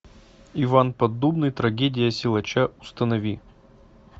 иван поддубный трагедия силача установи